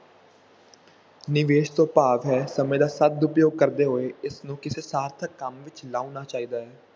ਨਿਵੇਸ ਤੋਂ ਭਾਵ ਹੈ ਸਮੇਂ ਦਾ ਸਦ ਉਪਯੋਗ ਕਰਦੇ ਹੋਏ ਇਸਨੂੰ ਕਿਸੇ ਸਾਰਥਕ ਕੰਮ ਵਿੱਚ ਲਾਉਣਾ ਚਾਹੀਦਾ ਹੈ।